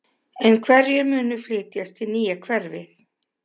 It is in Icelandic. En hverjir munu flytjast í nýja hverfið?